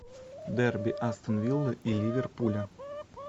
дерби астон виллы и ливерпуля